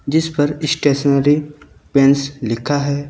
जिस पर stationery pens लिखा है।